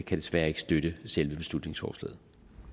desværre ikke støtte selve beslutningsforslaget